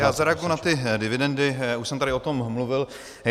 Já zareaguji na ty dividendy, už jsem tady o tom mluvil.